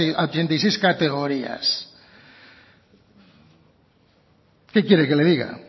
a ochenta y seis categorías qué quiere que le diga